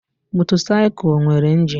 Motorcycle nwere injin.